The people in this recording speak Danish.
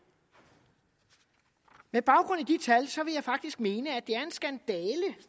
med baggrund i de tal vil jeg faktisk mene at